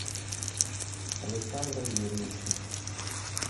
александром юрьевичем